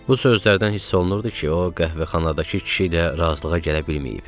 Bu sözlərdən hiss olunurdu ki, o qəhvəxanadakı kişi ilə razılığa gələ bilməyib.